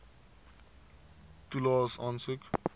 toelaes aansoek